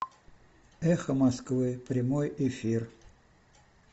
эхо москвы прямой эфир